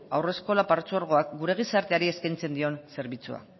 haurreskolak partzuergoak gure gizarteari eskaintzen dion zerbitzua